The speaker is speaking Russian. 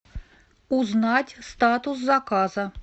узнать статус заказа